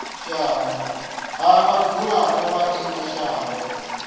ha vhadzulapo vha ino shango